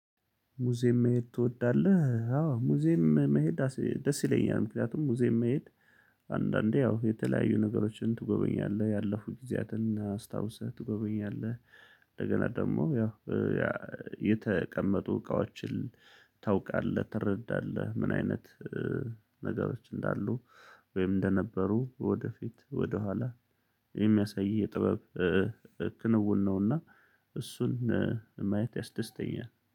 ሙዚየም መሄድ ትወዳለህ? አዎ ሙዚየም መሄድ ደስ ይለኛል። ምክንያቱም ሙዚየም መሄድ አንዳንዴ ያው የተለያዩ ነገሮችን ትጎበኛለህ ያለፉ ጊዜያትን አስታውሰህ ትጎበኛለህ። እንደገና ደግሞ ያው የተቀመጡ እቃዎችን ታውቃለህ ትረዳለህ ምን አይነት ነገሮች እንዳሉ። ወይም እንደነበሩ ወደፊት ወደኋላ የሚያሳይ የጥበብ ክንውን ነውና። እሱን ማየት ያስደስተኛል